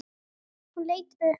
Hún leit upp.